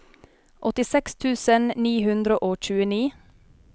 åttiseks tusen ni hundre og tjueni